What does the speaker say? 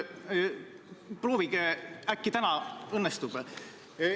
Proovige, äkki täna õnnestub.